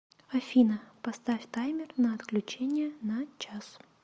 афина поставь таймер на отключение на час